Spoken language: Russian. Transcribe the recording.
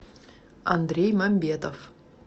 андрей мамбетов